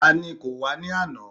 Ta ni kò wá ní àná?